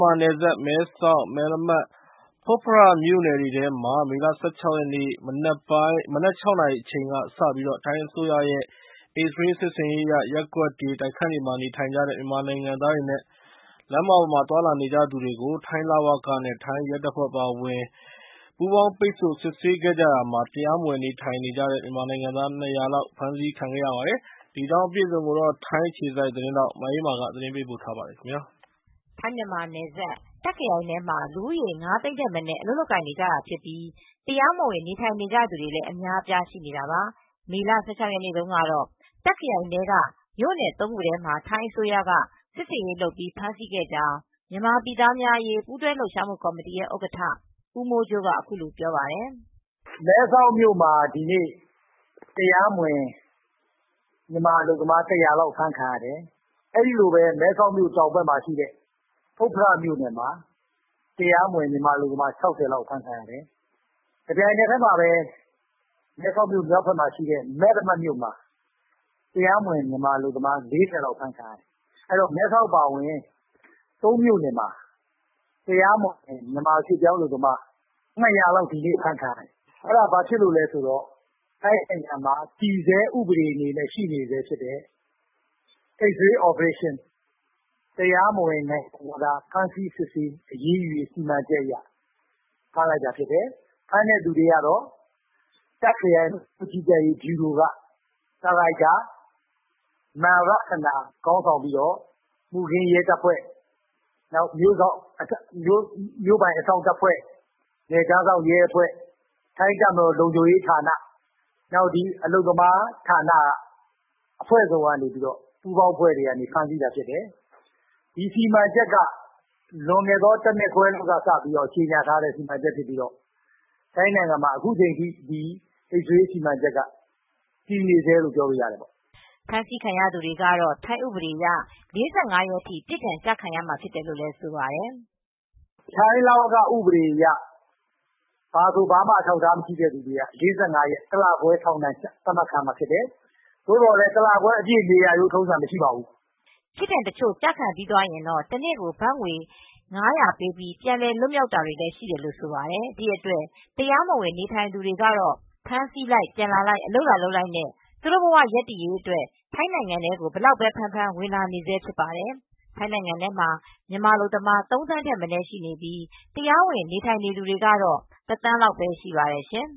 မာနယ်စပ်၊ မဲဆောက်၊ မယ်လမတ်၊ ဖွတ်ဖရမြို့နယ်တွေမှာ မေလ ၁၆ ရက်နေ့ မနက်ပိုင်း ၆ နာရီကစပြီး ထိုင်းအစိုးရရဲ့ X-Ray စစ်ဆင်ရေးအရ ရက်ကွက်တွေ၊ တိုက်ခန်းတွေမှာနေထိုင်နေကြတဲ့ မြန်မာနိုင်ငံသားတွေနဲ့ လမ်းမတွေပေါ်မှာ သွား လာနေကြသူတွေကို ထိုင်း လဝက နဲ့ ရဲတပ်ဖွဲ့ဝင်တွေက ပူးပေါင်းစစ်ဆေးခဲ့ပါတယ်။ ဒီစစ်ဆေးမှုအတွင်း တရားမဝင်နေထိုင်နေကြတဲ့ မြန်မာနိုင်ငံသား ၂၀၀ ဝန်းကျင်ကို ဖမ်းဆီးခဲ့ကြောင်း ထိုင်းအခြေစိုက် ဗွီအိုအေသတင်းထောက် မအေးအေးမာက သတင်းပေးပို့ထားပါတယ်။ ထိုင်း-မြန်မာနယ်စပ်၊ တာ့ခရိုင်ထဲမှာ မြန်မာရွှေ့ပြောင်းအလုပ်သမား လူဦးရေ ၅ သိန်း ထက်မနည်း အလုပ်လုပ်နေကြပြီး တရားမဝင် နေထိုင်သူတွေလည်း အများအပြား ရှိနေ တာပါ။ မေလ ၁၆ ရက်နေ့မှာ တာ့ခရိုင်ထဲက ၃ မြို့နယ်မှာ ထိုင်းအစိုးရက စစ်ဆင်ရေးနဲ့ ဖမ်းဆီးခဲ့ကြောင်း မြန်မာပြည်သားများအရေး ပူးတွဲလှုပ်ရှားမှုကော်မတီရဲ့ ဥက္ကဋ္ဌ ဦးမိုးကြိုးက အခုလို ပြောပါတယ်။ “မဲဆောက်မြို့မှာ တရားမဝင် အလုပ်သမား ၁၀၀ အဖမ်းခံရတယ်။ မဲဆောက်မြို့တောင်ဘက် ဖွတ်ဖရမြို့နယ်မှာ တရားမဝင် ၆၀ လောက် အဖမ်းခံရ တယ်။ တပြိုင်တည်း မဲဆောက်မြို့နယ်မြောက်ဘက် မဲလမတ်မြို့မှာ ၄၀ လောက် အဖမ်းခံရ တယ်။ အားလုံး ၂၀၀ လောက် အဖမ်းခံရတယ်။ အဲဒါကတော့ တည်ဆဲဥပဒေအဖြစ် ရှိနေတဲ့ X-Ray စစ်ဆင်ရေးအရ တရားမဝင် နိုင်ငံခြားသားတွေကို ဖမ်းဆီးစစ်ဆေးတဲ့ ဥပဒေအရ ဖမ်းဆီးခံရတာဖြစ်တယ်။ အဖမ်းခံရ တာကတော့ တာ့ခရိုင် လဝက ဗျူရိုက ဒါရိုက်တာ မန်ရထနာဦးဆောင်ပြီး မှုခင်းရဲတပ်ဖွဲ့၊ မြို့ပိုင်အစောင့်တပ်ဖွဲ့၊ နယ်ခြားစောင့် ထိုင်းတပ်မတော် လုံခြုံရေး တပ်ဖွဲ့နဲ့ အလုပ်သမားဌာနဆိုင်ရာတွေက ပူးပေါင်းပြီး ဖမ်းဆီးတာဖြစ်တယ်။ ဒီစီမံချက်က X-Ray စစ်ဆင်ရေးက လွန်ခဲ့တဲ့ တနှစ်ကျော် လောက်က စပြီး အခုထိ တည်ဆဲဖြစ်တယ်။” ဖမ်းဆီးခံရသူတွေကတော့ ထိုင်းဥပဒေအရ ၄၅ ရက်အထိ အပြစ်ဒဏ် ကျခံရမှာဖြစ်တယ်လို့လည်း ဆိုပါတယ်။ “ထိုင်းဥပဒေအရဆိုရင် ဒီလိုဖမ်းမိရင် တလခွဲ ဖမ်းချုပ်ခံရတာဖြစ်တယ်။ သို့သော် တလခွဲအထိတော့ နေရတာမျိုး မရှိပါဘူး။” ပြစ်ဒဏ်တချို့ကျခံပြီးသွားရင်တော့ တနေ့ကို ဒဏ်ငွေ ဘတ် ၅၀၀ ပေးပြီး ပြန်လည်လွတ်မြောက်တာတွေလည်းရှိကြောင်း ဆိုပါတယ်။ ဒီအတွက် တရားမဝင် နေထိုင်သူတွေဟာ ဖမ်းဆီးခံရလိုက်၊ ပြန်လွတ်လာတဲ့အခါ အလုပ်ပြန်လာလုပ်လိုက်နဲ့ပဲ ဘဝရပ်တည်ရေးအတွက် ထိုင်းနိုင်ငံအတွင်းမှာ အဖမ်းအဆီးဘယ်လောက်များများ အလုပ်လာလုပ်နေကြဆဲဖြစ်ပါတယ်။ ထိုင်းနိုင်ငံထဲမှာ မြန်မာအလုပ်သမား ၃ သန်းထက်မနည်းရှိပြီး တရားဝင် နေထိုင်သူတွေကတော့ ၁ သန်းလောက်ပဲ ရှိပါတယ်ရှင်